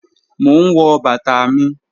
Mò n wọ̀ bàtà mi.